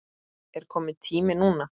Er kominn tími núna?